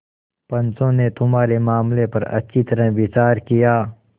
पंचों ने तुम्हारे मामले पर अच्छी तरह विचार किया